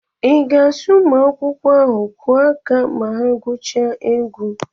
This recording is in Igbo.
I ga-asị ụmụ akwụkwọ ahụ kwụọ aka ma ha gwuchaa egwu?